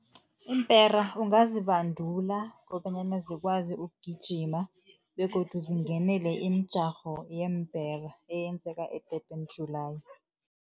Iimpera ungazibandula kobanyana zikwazi ukugijima begodu zingenele imijarho yeempera, eyenzeka e-Durban July.